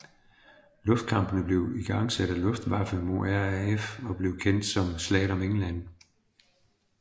Luftkampene blev igangsat af Luftwaffe mod RAF og blev kendt som Slaget om England